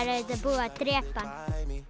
er auðvitað búið að drepa hann